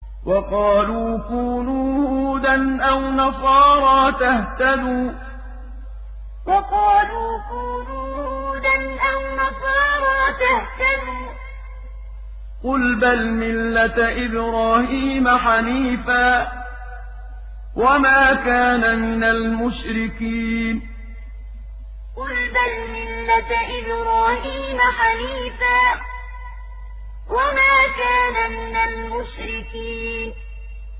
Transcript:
وَقَالُوا كُونُوا هُودًا أَوْ نَصَارَىٰ تَهْتَدُوا ۗ قُلْ بَلْ مِلَّةَ إِبْرَاهِيمَ حَنِيفًا ۖ وَمَا كَانَ مِنَ الْمُشْرِكِينَ وَقَالُوا كُونُوا هُودًا أَوْ نَصَارَىٰ تَهْتَدُوا ۗ قُلْ بَلْ مِلَّةَ إِبْرَاهِيمَ حَنِيفًا ۖ وَمَا كَانَ مِنَ الْمُشْرِكِينَ